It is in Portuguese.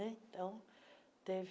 Então, teve...